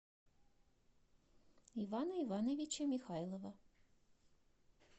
ивана ивановича михайлова